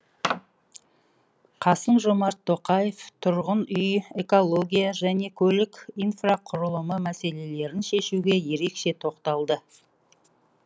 қасым жомарт тоқаев тұрғын үй экология және көлік инфрақұрылымы мәселелерін шешуге ерекше тоқталды